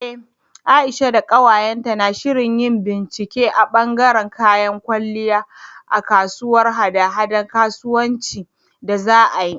Eh Aisha da ƙawayenta na shirin yin bincike a ɓangaren kayan kwalliya a kasuwar haɗa-haɗar kasuwanci da za a yi.